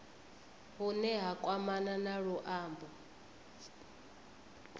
hune ha kwamana na luambo